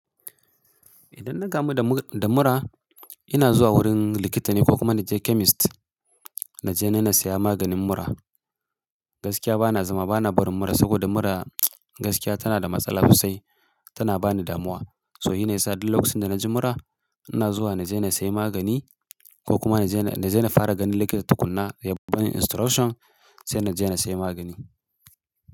Idan na gamu da mura, ina zuwa wurin likita ne ko kuma na je chemist. Na je ni na saya maganin mura. Gaskiya bana zama bana barin mura, saboda mura, gaskiya tana da matsala sosai tana bani damuwa. So, hi ne ya sa duk lokacin da na ji mura, ina zuwa na je na sayi magani, ko kuma na je na, na je na fara ganin likita tukuna, ya ban instruction, sai na je na sai magani.